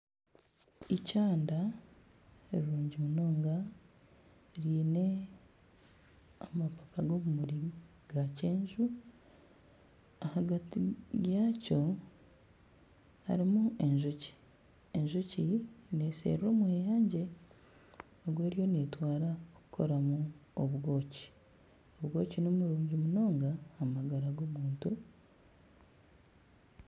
Ikyanda rirungi munonga ryine amapapa g'obumuri g'akyenju ahagati yaakyo harimu enjoki, enjoki nesherura omweyangye ogw'eriyo neetwara kukoramu obwoki, obwoki nibirungi munonga aha magara g'omuntu.